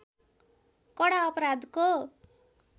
कडा अपराधको